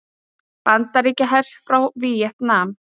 Bandaríkjahers frá Víetnam.